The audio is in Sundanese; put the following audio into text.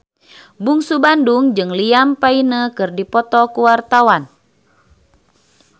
Bungsu Bandung jeung Liam Payne keur dipoto ku wartawan